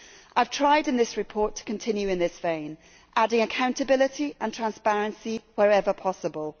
I have tried in this report to continue in this vein, adding accountability and transparency wherever possible.